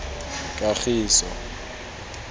kagiso